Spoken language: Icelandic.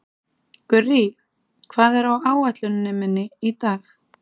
Gurrí, hvað er á áætluninni minni í dag?